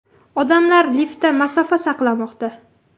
Odamlar liftda masofa saqlamoqda.